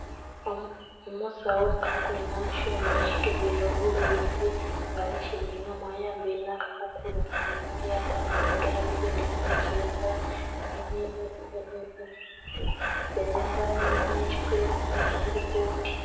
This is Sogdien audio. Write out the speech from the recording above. Omusawo nga ali kulinga mu kyuma ekikebera obulwaire, nga ali kiringamu. Ayambaile na kakuukulu ku munhwa, yataaku nhi galubindi ku maiso. Yayambala nh'ekigirikooti.